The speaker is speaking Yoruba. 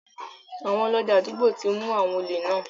Àwọn Ọlọ́dẹ àdúgbò ti mu àwọn òlè náà.